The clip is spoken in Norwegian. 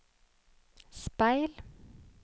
speil